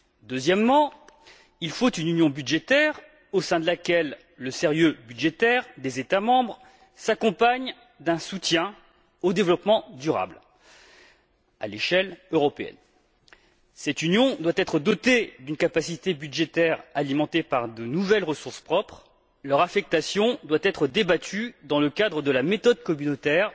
Deuxièmement, il faut une union budgétaire, au sein de laquelle le sérieux budgétaire des États membres s'accompagne d'un soutien au développement durable à l'échelle européenne. Cette union doit être dotée d'une capacité budgétaire alimentée par de nouvelles ressources propres, dont l'affectation doit être débattue dans le cadre de la méthode communautaire,